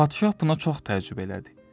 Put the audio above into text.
Padşah buna çox təəccüb elədi.